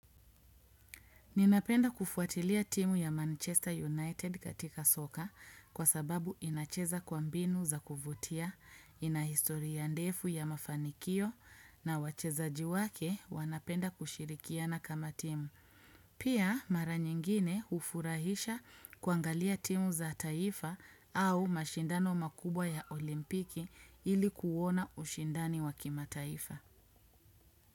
Ninapenda kufuatilia timu ya Manchester United katika soka kwa sababu inacheza kwa mbinu za kuvutia, ina historia ndefu ya mafanikio na wachezaji wake wanapenda kushirikiana kama timu. Pia mara nyingine hufurahisha kuangalia timu za taifa au mashindano makubwa ya olimpiki ili kuuona ushindani wa kimataifa.